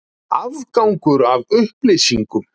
Aðgangur að upplýsingum.